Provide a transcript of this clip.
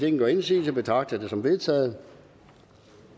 ingen gør indsigelse betragter jeg det som vedtaget